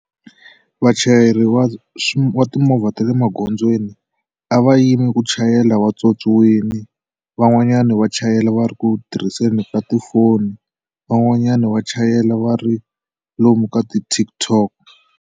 Vachayeri wa swi timovha ta le magondzweni a va yimi ku chayela vatswotswiwile van'wanyana va chayela va ri ku tirhiseni ka tifoni van'wanyana va chayela va ri lomu ka ti TikTok.